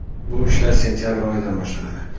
Bu ishlar sentabr oyidan boshlanadi”.